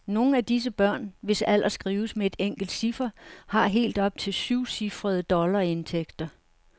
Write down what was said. Nogle af disse børn, hvis alder skrives med et enkelt ciffer, har helt op til syvcifrede dollarindtægter.